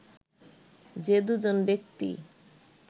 যে দুজন ব্যক্তি